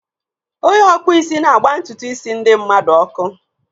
Onye ọkpụisi na-agba ntutu isi ndi mmadu ọkụ.